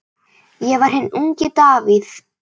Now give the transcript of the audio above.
Ég var hinn ungi Davíð.